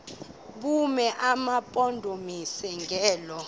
bume emampondomiseni ngelo